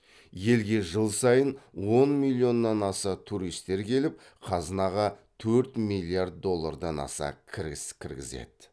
елге жыл сайын он миллионнан аса туристер келіп қазынаға төрт миллиард доллардан аса кіріс кіргізеді